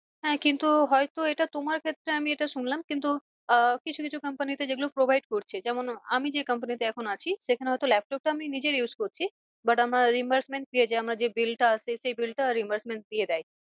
হ্যাঁ কিন্তু হয় তো এটা তোমার ক্ষেত্রে আমি এটা শুনলাম কিন্তু আহ কিছু কিছু comapny তে যেগুলো provide করছে যেমন আমি যে company তে এখন আছি সেখানে হয়তো laptop টা আমার নিজের used করছি but আমার আমার যে bill টা আসছে সেই bill টা দিয়ে দেয়।